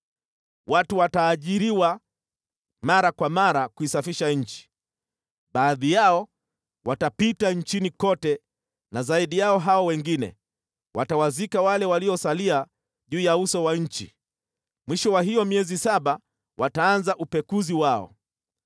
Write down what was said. “ ‘Watu wataajiriwa mara kwa mara kuisafisha nchi. Baadhi yao watapita nchini kote na zaidi yao hao wengine, watawazika wale waliosalia juu ya uso wa nchi. Mwisho wa hiyo miezi saba wataanza upekuzi wao.